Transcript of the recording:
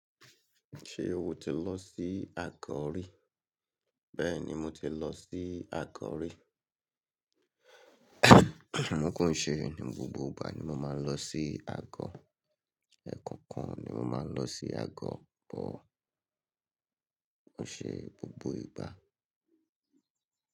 Ṣé o ti lọ sí Agọ̀ rí? Bẹ́ẹ̀ni mo ti lọ sí Agọ̀ rí. Kò n ṣe ni gbogbo ìgbà ni mo máa ń lọ sí Agọ̀. Ẹ̀ẹ̀kan kan ni mo máa ń lọ sí Agọ̀, but kò ṣe gbogbo ìgbà.